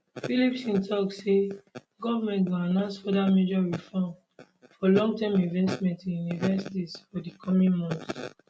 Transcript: phillipson tok say government go announce further major reform for longterm investment in universities for di coming months